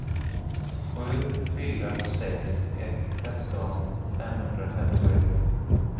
sju fyra sex ett tretton femhundrafemtioett